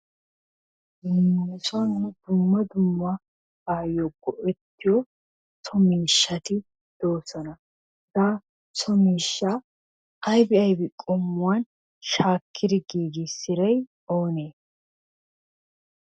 Nu sonni nuni dumma dumma bayo go'ettiyo so mishatti de'osonna hegaa so mishaa aybi aybi qomuwanni shakidi gigisiday i onne?